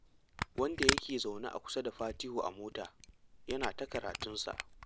Wanda yake zaune kusa da Fatihu a mota, yana ta karatunsa